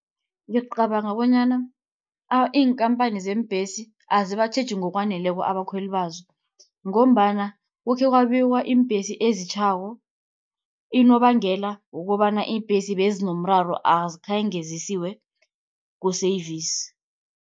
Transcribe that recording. Ngicabanga bonyana iinkampani zeembesi, azibatjheji ngokwaneleko abakhweli bazo, ngombana kukhekwabiwa iimbhesi ezitjhako. Unobangela wokobana iimbhesi bezinomraro azikhange zisiwe ku-service.